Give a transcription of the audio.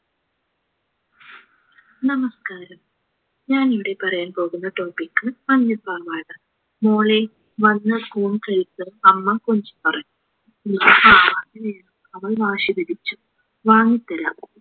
നമസ്ക്കാരം ഞാൻ ഇവിടെ പറയാൻ പോകുന്ന topic മഞ്ഞ പാവാട മോളെ വന്നു ഊണ് കഴിക്ക് അമ്മ പറഞ്ഞു പാവാട വേണം അവൾ വാശിപിടിച്ചു വാങ്ങിത്തരാം